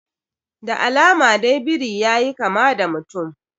Da alama dai biri yayi kama da mutum